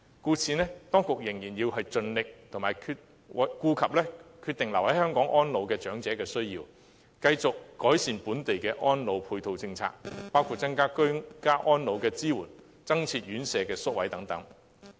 故此，當局仍然要盡力照顧決定留港安老長者的需要，繼續改善本地的安老配套政策，包括增加居家安老的支援、增建院舍宿位等。